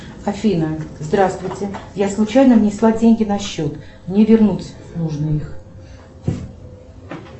афина здравствуйте я случайно внесла деньги на счет мне вернуть нужно их